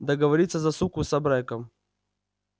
договориться за суку с абреком